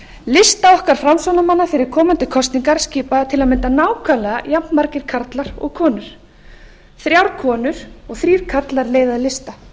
lista okkar framsóknarmanna fyrir komandi kosningar skipa til að mynda nákvæmlega jafnmargir karlar og konur þrjár konur og þrír karlar leiða lista